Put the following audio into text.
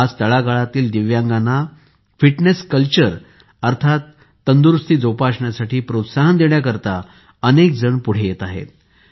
आज तळागाळातील दिव्यांगांना फिटनेस कल्चर अर्थात तंदुरूस्ती जोपासण्यासाठी प्रोत्साहन देण्यासाठी अनेक जण पुढे येत आहेत